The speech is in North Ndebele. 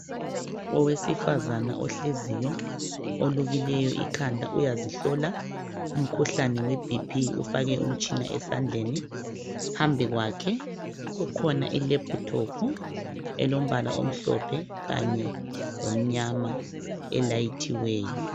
Owesifazana ohleziyo olukileyo ikhanda uyazihlola umkhuhlani webhiphi ufake umtshina esandleni phambi kwakhe kukhona ilephuthophu elombala omhlophe kanye lomnyama elayithiweyo.